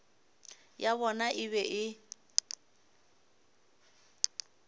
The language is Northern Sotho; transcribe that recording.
ya bona e be e